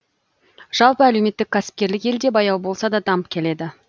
жалпы әлеуметтік кәсіпкерлік елде баяу болса да дамып келеді